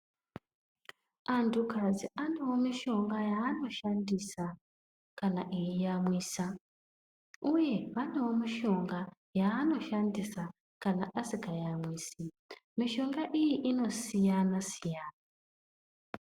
Antu kadzi anewo mushonga yaanoshandisa kana eyi amwisa uye vanewo mishonga yavanoshandisa kana asingayamwisi mishonga iyi inosiyana siyana